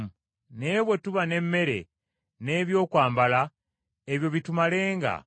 Naye bwe tuba n’emmere, n’ebyokwambala ebyo bitumalenga.